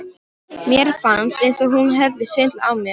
Mér fannst eins og hún hefði svindlað á mér.